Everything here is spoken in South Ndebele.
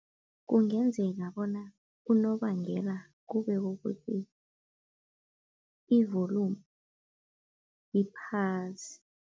Kungenzeka bona unobangela kube kukuthi i-volume iphasi.